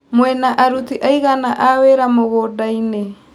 Mwĩna aruti aigana a wĩra mũgũndainĩ.